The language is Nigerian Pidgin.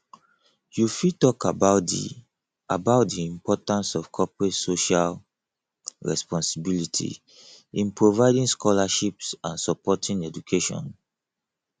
you fit talk about di about di importance of corporate social responsibility in providing scholarships and supporting education